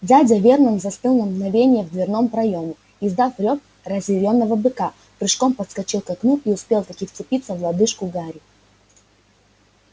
дядя вернон застыл на мгновение в дверном проёме издав рёв разъярённого быка прыжком подскочил к окну и успел-таки вцепиться в лодыжку гарри